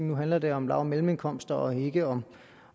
nu handler det om lav og mellemindkomster og ikke om